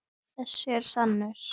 Þessi er sannur.